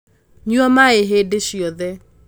nyua maĩ hĩndĩ ciothe